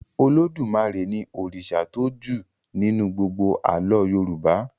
Olódùmarè ní òrìṣà tó jù nínú gbógbó àlọ yorùbá